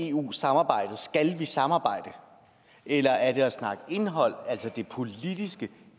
eu samarbejdet skal samarbejde eller er det at snakke indhold altså det politiske